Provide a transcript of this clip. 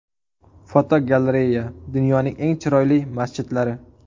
Fotogalereya: Dunyoning eng chiroyli masjidlari.